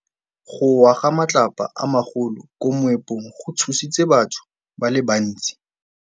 Go wa ga matlapa a magolo ko moepong go tshositse batho ba le bantsi.